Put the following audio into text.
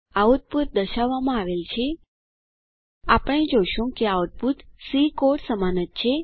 output દર્શાવવામાં આવેલ છે આપણે જોશું કે આઉટપુટ સી કોડ સમાન જ છે